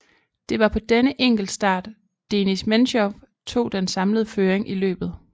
Det var på denne enkeltstart Denis Mensjov tog den samlede føring i løbet